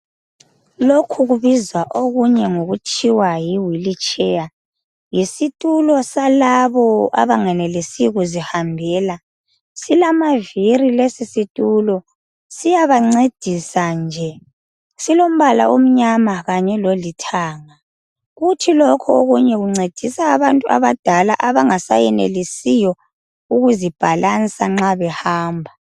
Lokhu kubizwa okunye ngokuthiwa yi wheel chair. Yisitulo salabo abangenelesi kuzihambela. Silamaviri lesi situlo , siyabancedisa nje. Silombala omnyama kanye lolithanga. Kuthi lokho okunye kuncedisa abantu abadala abangasayenelisiyo ukuzibhalansa nxa behamba.